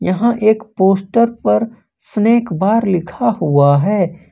यहां एक पोस्टर पर स्नैक बार लिखा हुआ है।